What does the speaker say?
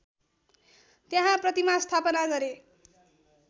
त्यहाँ प्रतिमा स्थापना गरे